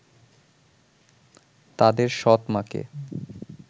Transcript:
তাদের সৎ মাকে